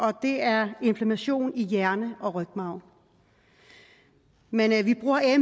og det er inflammation i hjerne og rygmarv men